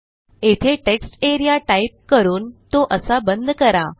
येथे textarea type करून तो असा बंद करा